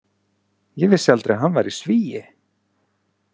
Ég vissi aldrei að hann væri Svíi.